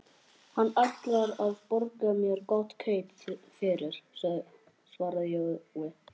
Hann ætlar að borga mér gott kaup fyrir, svaraði Jói.